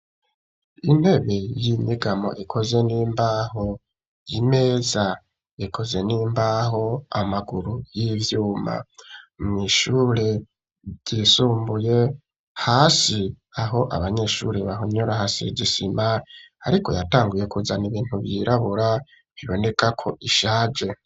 Intebe y'inyegamo ikozwe n'imbaho imeza ikozwe n'imbaho amaguru y'ivyuma mw'ishure ryisumbuye hasi aho abanyeshuri bahonyora hasize isima ariko yatanguye kuzana ibintu vyirabura biboneka ko ishaje.